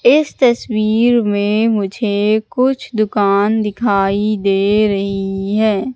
इस तस्वीर में मुझे कुछ दुकान दिखाई दे रही है।